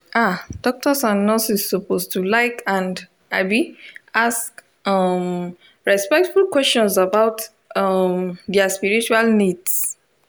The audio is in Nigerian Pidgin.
ah doctors and nurses suppose to like and um ask um respectful questions about um dia spiritual needs